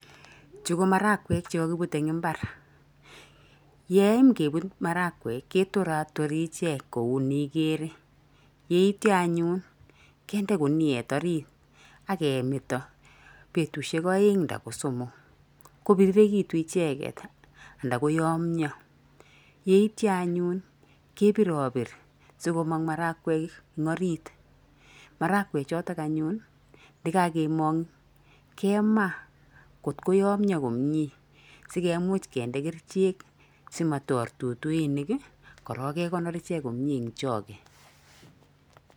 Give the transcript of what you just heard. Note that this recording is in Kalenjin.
Chu ko marakwek chekakibute eng mbar. Yeiykebut marakwek ketoratori ichek kou neiker yeityo anyun kende kuniet orit akemeto betusiek aeng' nda ko somok kopirirekitu icheket nda koyomyo. Yeityo anyun kepiropir sikomong marakwek eng orit. Marakwechoto anyun yekakemong kema, kot koyomyo komie sikemuch kende kerichek simator tutuinik, korok kekonor ichek komie eng choge.